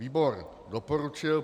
Výbor doporučil